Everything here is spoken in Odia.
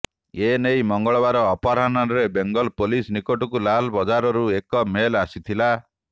ଏ ନେଇ ମଙ୍ଗଳବାର ଅପରାହ୍ନରେ ବେଙ୍ଗଲ ପୋଲିସ ନିକଟକୁ ଲାଲବଜାରୁରୁ ଏକ ମେଲ ଆସିଥିଲା